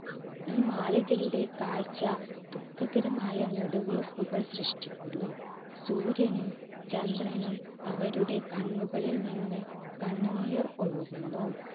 ഈ മാളികയുടെ കാഴ്ച ദുഃഖകരമായ നെടുവീർപ്പുകൾ സൃഷ്ടിക്കുന്നു. സൂര്യനും ചന്ദ്രനും അവരുടെ കണ്ണുകളിൽ നിന്ന് കണ്ണുനീർ ഒഴുകുന്നു.